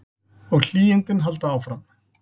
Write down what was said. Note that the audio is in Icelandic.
Og hlýindin halda áfram.